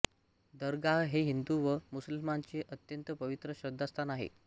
दरगाह हे हिन्दु व मुस्लिमांचे अत्यंत पवित्र श्रद्धास्थान आहे